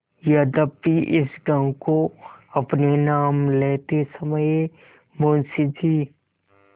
यद्यपि इस गॉँव को अपने नाम लेते समय मुंशी जी